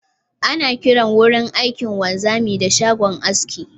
Ana kiran wurin aikin wanzami da shagon aski